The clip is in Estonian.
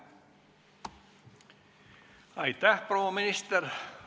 Aitäh, proua minister!